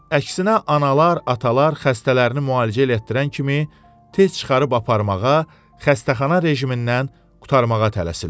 Əksinə analar, atalar xəstələrini müalicə elətdirən kimi tez çıxarıb aparmağa, xəstəxana rejimindən qurtarmağa tələsirlər.